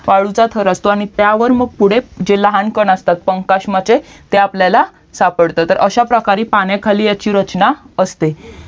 वाळूचा थर असतो आणि त्यावर मग पुढे जे लहान कण असतात कांकस्माचे ते आपल्याला सापडतात तर अश्या प्रकारे पाण्याखाली ह्याची रचना असते